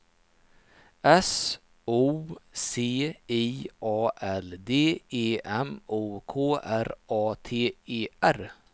S O C I A L D E M O K R A T E R